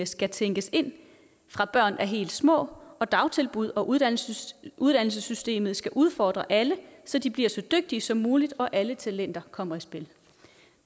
skal tænkes ind fra børn er helt små og dagtilbud og uddannelsessystemet uddannelsessystemet skal udfordre alle så de bliver så dygtige som muligt og alle talenter kommer i spil